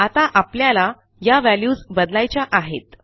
आता आपल्याला या व्हॅल्यूज बदलायच्या आहेत